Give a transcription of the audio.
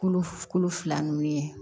Kolo kolo fila ninnu ye